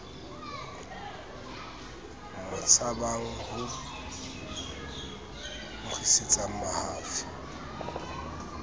mo tshabang ho nkgisetsana mahafi